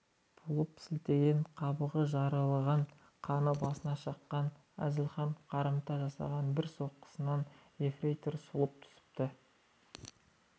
болып сілтеген қабағы жарылғаннан қаны басына шапқан әзілханның қарымта жасаған бір соққысынан ефрейтор сұлап түсіпті